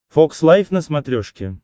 фокс лайв на смотрешке